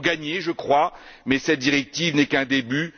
Nous avons gagné je crois, mais cette directive n'est qu'un début.